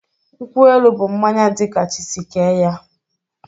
Nkwụ-elụ bụ mmañya di ka chi si kee ya